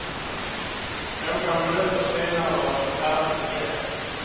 Några minuter senare var det färdigt igen.